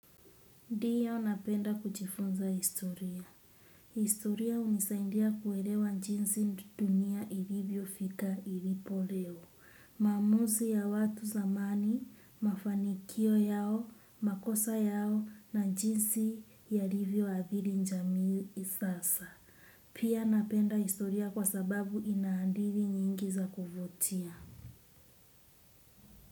Ndiyo napenda kujifunza historia. Historia unisaidia kuelewa jinsi dunia ilivyo fika ilipo leo. Maamuzi ya watu zamani, mafanikio yao, makosa yao na jinsi yalivyo athiri jamii sasa. Pia napenda historia kwa sababu inahadithi nyingi za kuvutia.